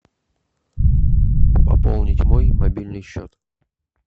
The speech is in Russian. пополнить мой мобильный счет